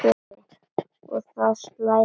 Og það slær af krafti.